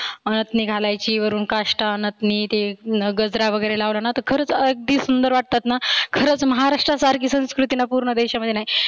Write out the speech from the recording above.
नथनी घालायची वरुण काष्टा नथनी ते गजरा वगैरे लावला ना तर खरच अगदी सुंदर वाटतात ना खरच महाराष्ट्रासारखी संस्कृती पुर्ण देशामध्ये नाही.